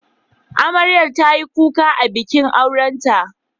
Amarya ta yi kuka a bikin aurenta.